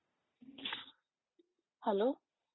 hello